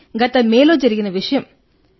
ఇది మే లో జరిగిన విషయం